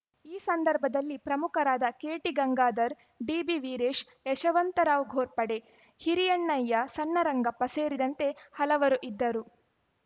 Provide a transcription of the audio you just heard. ಈ ಸಂದರ್ಭದಲ್ಲಿ ಪ್ರಮುಖರಾದ ಕೆಟಿಗಂಗಾಧರ್‌ ಡಿಬಿವೀರೇಶ್‌ ಯಶವಂತರಾವ್‌ ಘೋರ್ಪಡೆ ಹಿರಿಯಣ್ಣಯ್ಯ ಸಣ್ಣರಂಗಪ್ಪ ಸೇರಿದಂತೆ ಹಲವರು ಇದ್ದರು